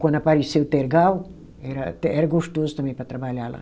Quando apareceu o tergal, era era gostoso também para trabalhar lá.